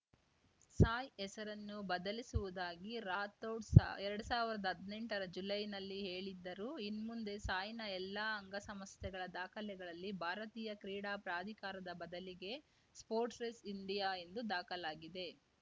ಸಾಯ್‌ ಹೆಸರನ್ನು ಬದಲಿಸುವುದಾಗಿ ರಾಥೋಡ್‌ ಸಾ ಎರಡ್ ಸಾವಿರ್ದಾ ಹದ್ನೆಂಟರ ಜುಲೈನಲ್ಲಿ ಹೇಳಿದ್ದರು ಇನ್ಮುಂದೆ ಸಾಯ್‌ನ ಎಲ್ಲಾ ಅಂಗ ಸಂಸ್ಥೆಗಳ ದಾಖಲೆಗಳಲ್ಲಿ ಭಾರತೀಯ ಕ್ರೀಡಾ ಪ್ರಾಧಿಕಾರದ ಬದಲಿಗೆ ಸ್ಪೊರ್ಟ್ಸ್ ಸ್ ಇಂಡಿಯಾ ಎಂದು ದಾಖಲಾಗಲಿದೆ